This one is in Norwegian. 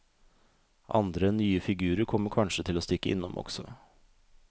Andre, nye figurer kommer kanskje til å stikke innom også.